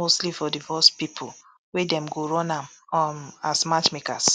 mostly for divorced pipo wey dem go run am um as matchmakers